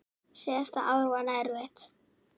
Síðasta ár var erfitt.